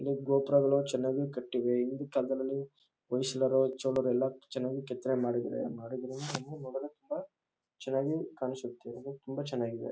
ಇಲ್ಲಿ ಗೋಪುರಗಳು ಚೆನ್ನಾಗಿ ಕಟ್ಟಿವೆ ಹಿಂದಿನ ಕಾಲದಲ್ಲಿ ಹೊಯ್ಸಳರು ಚೋಳರು ಎಲ್ಲ ಚೆನ್ನಾಗಿ ಕೆತ್ತನೆ ಮಾಡಿದ್ದಾರೆ ತುಂಬ ಚೆನ್ನಾಗಿ ಕಾಣಿಸುತ್ತೆ ಇದು ತುಂಬ ಚೆನ್ನಾಗಿದೆ.